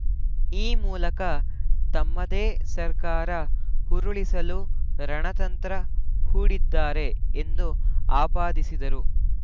ಈ ಮೂಲಕ ತಮ್ಮದೇ ಸರ್ಕಾರ ಉರುಳಿಸಲು ರಣತಂತ್ರ ಹೂಡಿದ್ದಾರೆ ಎಂದು ಆಪಾದಿಸಿದರು